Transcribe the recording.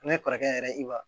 Ne kɔrɔkɛ yɛrɛ i b'a